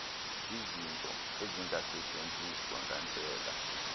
izinto ezingasetyenziswa ngandlela